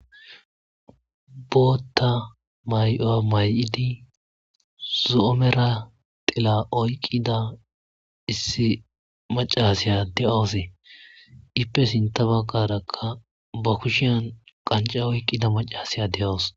Bootta may'oya may'idi zo'omera tila oyqqida issi macasiya de'aosee ippe sinta baqarakka ba kushiyan qanca oyqqida macasiya de'owos.